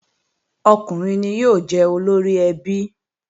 Ọkùnrin ni yóò jẹ́ olóríẹbí